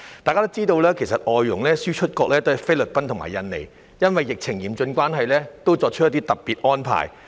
大家也知道，外傭輸出國菲律賓和印尼因為疫情嚴峻，已作出一些特別安排。